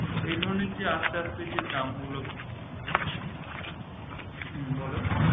এধরনের যে আস্তে আস্তে দাম গুলো হম বল